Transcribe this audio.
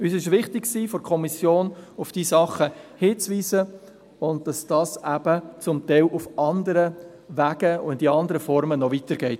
Seitens der Kommission war es uns wichtig, auf diese Dinge hinzuweisen, und dass dies zum Teil auf anderen Wegen und in anderen Formen noch weitergeht.